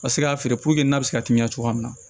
Ka se k'a feere n'a bɛ se ka teliya cogoya min na